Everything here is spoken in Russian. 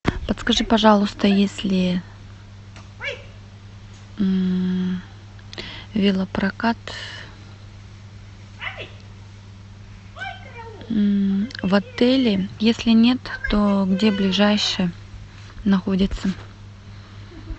подскажи пожалуйста есть ли велопрокат в отеле если нет то где ближайший находится